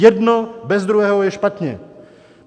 Jedno bez druhého je špatně.